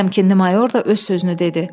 Təmkinli mayor da öz sözünü dedi.